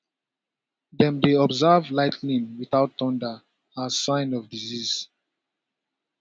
dem dey observe lightning without thunder as sign of disease